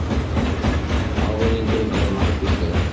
Ávinningurinn er margvíslegur